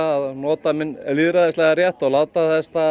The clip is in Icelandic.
að nota minn lýðræðislega rétt og láta